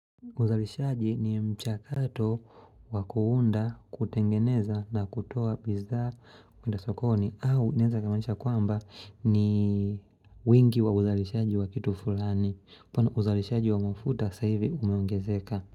Uzalishaji ni mchakato wa kuunda kutengeneza na kutoa bidhaa kuenda sokoni au inaweza kumaanisha kwamba ni wingi wa uzalishaji wa kitu fulani mfano uzalishaji wa mafuta sasa hivi umeongezeka.